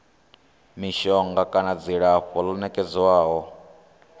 mishonga kana dzilafho ḽo nekedzwaho